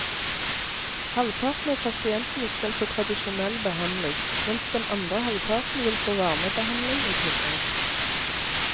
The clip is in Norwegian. Halvparten av pasientene skal få tradisjonell behandling, mens den andre halvparten vil få varmebehandling i tillegg.